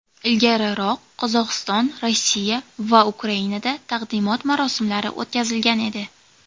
Ilgariroq Qozog‘iston, Rossiya va Ukrainada taqdimot marosimlari o‘tkazilgan edi.